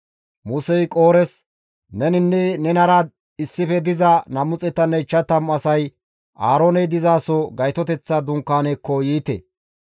Musey Qoores, «Neninne nenara issife diza 250 asay Aarooney dizaso Gaytoteththa dunkaanekko yiite.